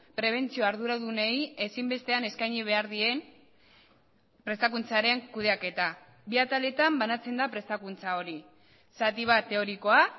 prebentzio arduradunei ezinbestean eskaini behar dien prestakuntzaren kudeaketa bi ataletan banatzen da prestakuntza hori zati bat teorikoa